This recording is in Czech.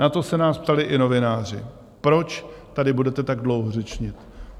Na to se nás ptali i novináři: Proč tady budete tak dlouho řečnit?